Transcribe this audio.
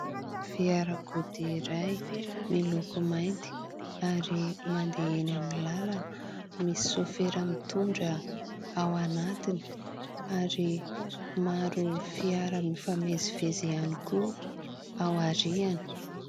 Fiarakodia iray miloko mainty ary mandeha eny amin'ny lalana, misy sôfera mitondra ao anatiny ary maro fiara mifamezivezy ihany koa aoriany.